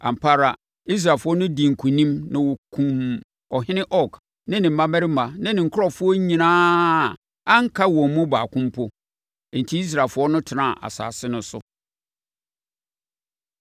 Ampa ara, Israelfoɔ dii nkonim na wɔkumm ɔhene Og ne ne mmammarima ne ne nkurɔfoɔ nyinaa a anka wɔn mu baako mpo. Enti Israelfoɔ no tenaa asase no so.